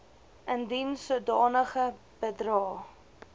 indien sodanige bedrae